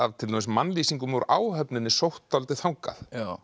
til dæmis af mannlýsingum úr áhöfninni sótt dálítið þangað